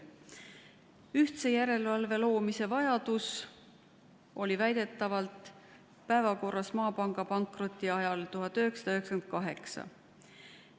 Ühtse järelevalve vajadus oli väidetavalt päevakorras olnud juba Maapanga pankroti ajal 1998.